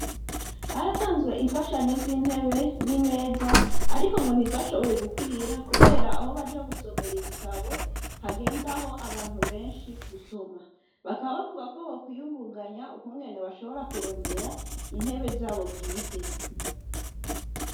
Haratanzwe imfashanyo z'intebe n'imeza, ariko ngo ntizashoboye gukwira, kubera aho baja gusomera ibitabo hagendaho abantu benshi gusoma bakabbavuga ko bokwiyungunganya ukunwene bashobora kurondera intebe zabo bwite.